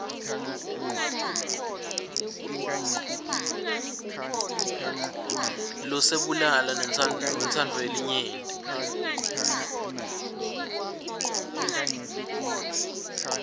loselubala newentsandvo yelinyenti